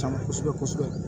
Caaman kosɛbɛ kosɛbɛ